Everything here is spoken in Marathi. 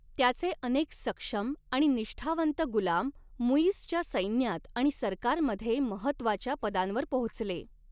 त्याचे अनेक सक्षम आणि निष्ठावंत गुलाम मुइझच्या सैन्यात आणि सरकारमध्ये महत्त्वाच्या पदांवर पोहोचले.